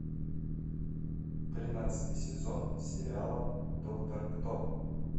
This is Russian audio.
тринадцатый сезон сериала доктор кто